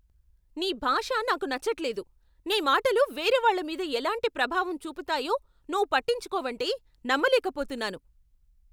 నీ భాష నాకు నచ్చట్లేదు, నీ మాటలు వేరే వాళ్ళ మీద ఎలాంటి ప్రభావం చూపుతాయో నువ్వు పట్టించుకోవంటే నమ్మలేకపోతున్నాను.